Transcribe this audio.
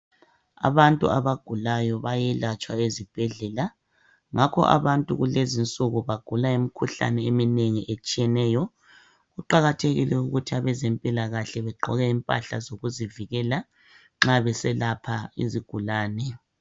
Abantu abagulayo bayelatshwa ezibhedlela. Ngakho abantu kulezinsuku bagula imikhuhlane eminengi etshiyeneyo. Kuqakathekile ukuthi abezempilakahle begqoke impahla zokuzivikela nxa beselapha izigulane.